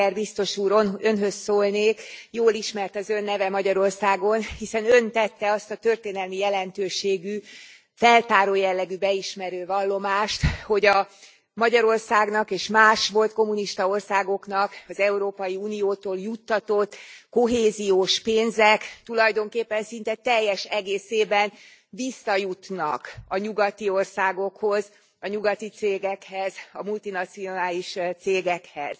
Oettinger biztos úrhoz szólnék. Jól ismert az Ön neve Magyarországon, hiszen Ön tette azt a történelmi jelentőségű, feltáró jellegű beismerő vallomást, hogy a Magyarországnak és más volt kommunista országoknak az Európai Uniótól juttatott kohéziós pénzek tulajdonképpen szinte teljes egészében visszajutnak a nyugati országokhoz, a nyugati cégekhez, a multinacionális cégekhez.